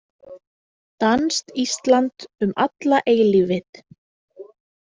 Danskt Ísland um alla eilífið.